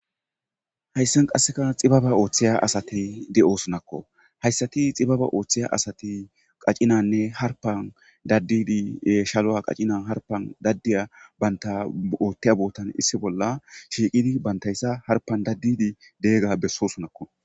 Hayssan qassi xibaba othiya assay de'ssonakko hayssatti xibaba othiyyaasati qaccina harppa daddidi shalluwa qaccina harppa bantti othiya bottan shiqqidi banttayssa harppan daddidi bessossona.